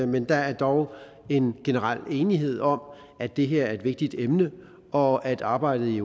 men der er dog en generel enighed om at det her er et vigtigt emne og at arbejdet i